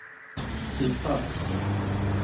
Stig Falk